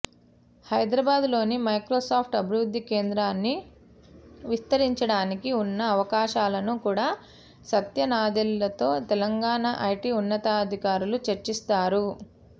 హైదరాబాద్లోని మైక్రోసాఫ్ట్ అభివృద్ధి కేంద్రాన్ని విస్తరించడానికి ఉన్న అవకాశాలను కూడా సత్య నాదెళ్లతో తెలంగాణ ఐటీ ఉన్నతాధికారులు చర్చిస్తారు